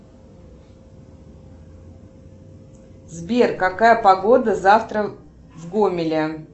сбер какая погода завтра в гомеле